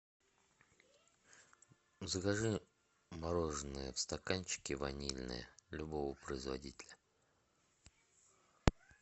закажи мороженое в стаканчике ванильное любого производителя